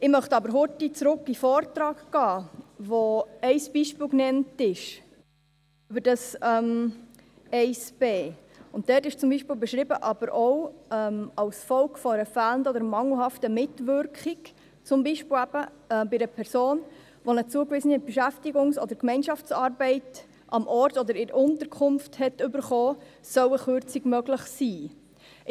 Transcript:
Ich möchte aber kurz zurück in den Vortrag gehen, wo ein Beispiel genannt ist für Absatz 1 Buchstabe b: Dort ist zum Beispiel beschrieben, dass auch als Folge von fehlender oder mangelhafter Mitwirkung, zum Beispiel bei einer Person, die eine zugewiesene Beschäftigungs- oder Gemeinschaftsarbeit am Ort oder in der Unterkunft erhalten hat, eine Kürzung möglich sein soll.